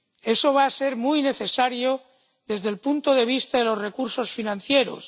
Eso va a ser muy necesario desde el punto de vista de los recursos financieros.